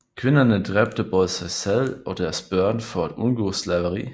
Kvinderne dræbte både sig selv og deres børn for at undgå slaveri